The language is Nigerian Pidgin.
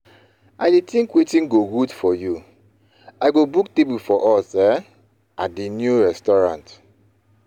I dey think wetin go good for you; I go book table for us um at di new restaurant.